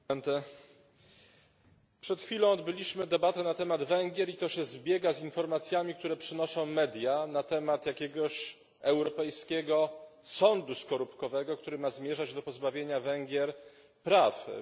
Przed chwilą odbyliśmy debatę na temat Węgier i to się zbiega z informacjami, które przynoszą media, na temat jakiegoś europejskiego sądu skorupkowego, który ma zmierzać do pozbawienia Węgier praw w Unii Europejskiej.